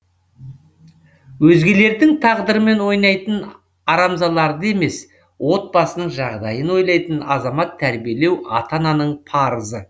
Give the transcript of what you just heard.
өзгелердің тағдырымен ойнайтын арамзаларды емес отбасының жағдайын ойлайтын азамат тәрбиелеу ата ананың парызы